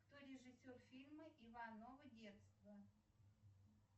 кто режиссер фильма иваново детство